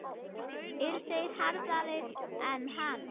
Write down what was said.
Eru þeir harðari en hann?